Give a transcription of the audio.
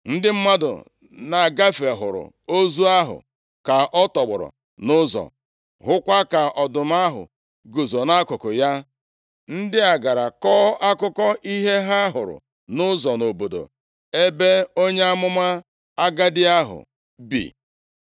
Ndị mmadụ na-agafe hụrụ ozu ahụ ka ọ tọgbọrọ nʼụzọ, hụkwa ka ọdụm ahụ guzo nʼakụkụ ya. Ndị a gara kọọ akụkọ ihe ha hụrụ nʼụzọ nʼobodo ebe onye amụma agadi ahụ bi.